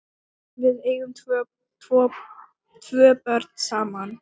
Við eigum tvö börn saman.